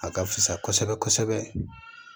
A ka fisa kosɛbɛ kosɛbɛ kosɛbɛ